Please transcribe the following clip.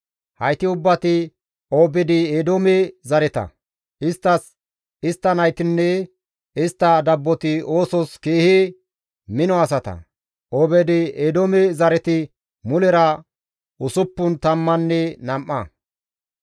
Hayti ubbati Obeed-Eedoome zareta; isttas, istta naytinne istta dabboti oosos keehi mino asata; Obeed-Eedoome zareti mulera usuppun tammanne nam7a.